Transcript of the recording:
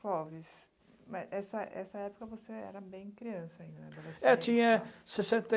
Clóvis, nessa nessa época você era bem criança ainda, né, adolescência... É tinha sessenta